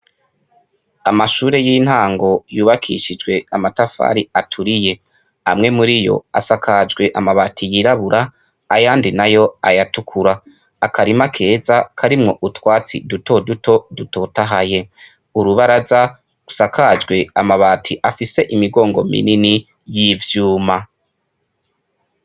Amashure y'intango yubakishijwe amatafari aturiye. Amwe muri yo asakajwe amabati yirabura, ayandi nayo ayatukura. Akarima keza karimwo utwatsi duto duto dutotahaye. Urubaraza rusakajwe amabati afise imigongo minini y'ivyuma.